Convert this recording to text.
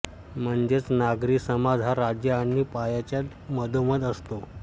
म्हणजेच नागरी समाज हा राज्य आणि पायाच्या मधोमध असतो